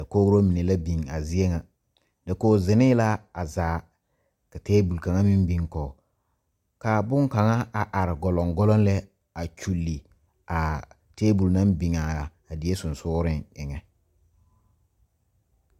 Kogro mine la bio a zie ŋa dakoge zinee la ka tabol kaŋa meŋ biŋ kɔg a are gɔlɔŋ gɔlɔŋ lɛ a kyule a tabol naŋ biŋaa die seŋsugliŋ be.